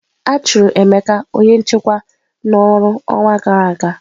A chụrụ Emeka onye nchekwa n'ọrụ ọnwa gara aga.